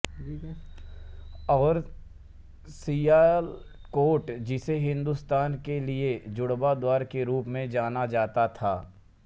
और सियालकोट जिसे हिंदुस्तान के लिए जुड़वां द्वार के रूप में जाना जाता था